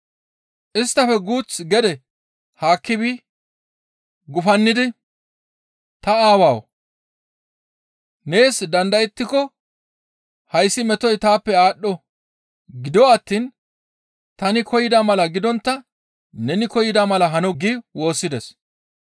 Isttafe guuth gede haakki bi gufannidi, «Ta Aawawu! Nees dandayettiko hayssi metoy taappe aadho; gido attiin tani koyida mala gidontta neni koyida mala hano» gi woossides.